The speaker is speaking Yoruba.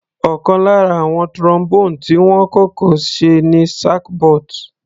Ọ̀kan lára àwọn Trombone tí wọ́n kọ́kọ́ ṣe ni sackbut.